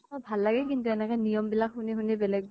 ভাল লাগে কিন্তু এনেকে নিয়ম বিলাক শুনি শুনি বেলেগ